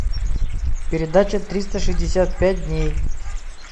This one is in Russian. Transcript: передача триста шестьдесят пять дней